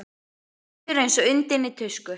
Mér líður eins og undinni tusku.